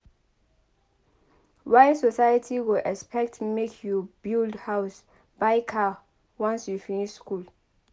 Why society go expect make you build house buy car once you finish school?